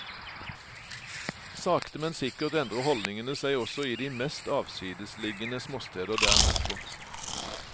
Sakte men sikkert endrer holdningene seg også i de mest avsidesliggende småsteder der nordpå.